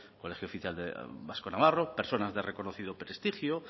colegio oficial vasco navarro personas de reconocido prestigio